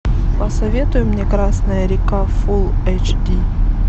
посоветуй мне красная река фулл эйч ди